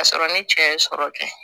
K'a sɔrɔ ni cɛ ye sɔrɔ kɛ